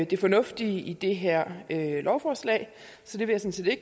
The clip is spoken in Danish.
det fornuftige i det her lovforslag så det vil jeg